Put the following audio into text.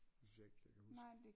Det synes jeg ikke jeg kan huske